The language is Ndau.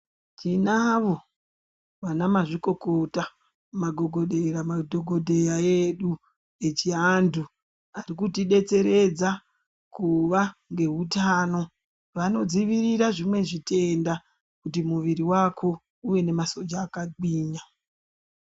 Tinavo vana mazvikokota magogodera madhokodheya edu echivantu arikutidetseredza kuva ngehutano vanodzivirira zvimwe zvitenda kuti muviri wake uve nemasoja akagwinya.